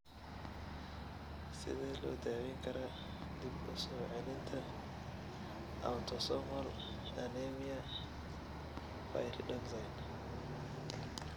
Sidee loo daweyn karaa dib-u-soo-celinta autosomal anemia pyridoxine